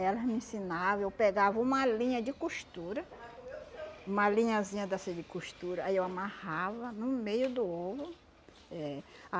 Elas me ensinavam, eu pegava uma linha de costura, uma linhazinha dessa de costura, aí eu amarrava no meio do ovo, é.